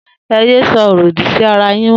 E yẹ sọrọ òdì sí ara yin mọ